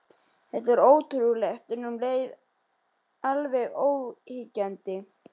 Þetta var ótrúlegt, en um leið alveg óyggjandi.